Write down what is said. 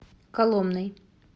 коломной